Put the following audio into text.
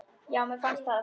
Já, mér finnst það.